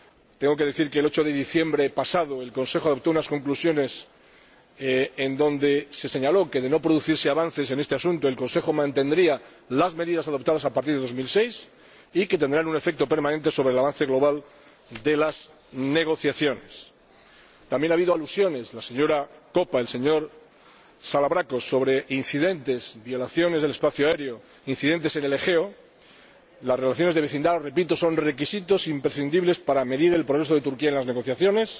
Tengo que decir que el 8 de diciembre pasado el Consejo adoptó unas conclusiones en las que se señaló que, de no producirse avances en este asunto, el Consejo mantendría las medidas adoptadas a partir de 2006, que tendrán un efecto permanente sobre el avance global de las negociaciones. También ha habido alusiones de la señora Koppa y el señor Salavrakos sobre otros incidentes violaciones del espacio aéreo, incidentes en el Egeo. Las relaciones de vecindad —repito— son requisitos imprescindibles para medir el progreso de Turquía en las negociaciones.